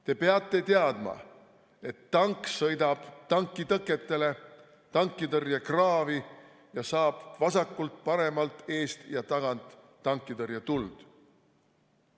Te peate teadma, et tank sõidab tankitõketele, tankitõrjekraavi ja saab vasakult, paremalt, eest ja tagant tankitõrjetuld.